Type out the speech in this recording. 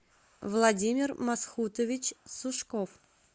владимир масхутович сушков